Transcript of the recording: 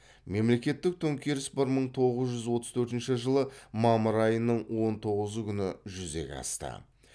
мемлекеттік төңкеріс бір мың тоғыз жүз отыз төртінші жылы мамыр айының он тоғызы күні жүзеге асты